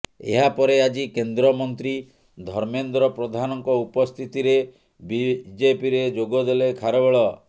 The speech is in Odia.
ଏହାପରେ ଆଜି କେନ୍ଦ୍ରମନ୍ତ୍ରୀ ଧର୍ମେନ୍ଦ୍ର ପ୍ରଧାନଙ୍କ ଉପସ୍ଥିତିରେ ବିଜେପିରେ ଯୋଗ ଦେଲେ ଖାରବେଳ